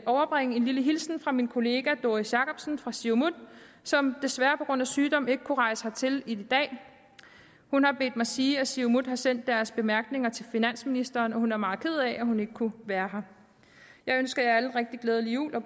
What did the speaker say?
overbringe en lille hilsen fra min kollega fru doris jakobsen fra siumut som desværre på grund af sygdom ikke kunne rejse hertil i dag hun har bedt mig sige at siumut har sendt deres bemærkninger til finansministeren og hun er meget ked af at hun ikke kunne være her jeg ønsker alle en rigtig glædelig jul og